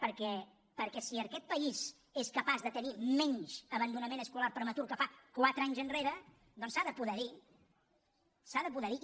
perquè si aquest país és capaç de tenir menys abandonament escolar prematur que fa quatre anys enrere doncs s’ha de poder dir s’ha de poder dir